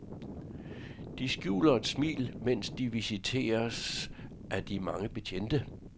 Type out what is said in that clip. De skjuler et smil, mens de visiteres af de mange betjente.